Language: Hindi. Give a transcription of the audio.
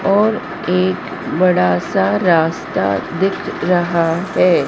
और एक बड़ा सा रास्ता दिख रहा है।